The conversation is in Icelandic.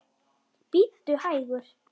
Bíddu hægur.